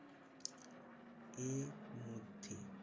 এরমধ্যে